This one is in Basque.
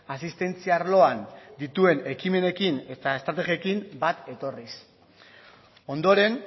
asistentzia arloan dituen ekimenekin eta estrategiekin bat etorriz ondoren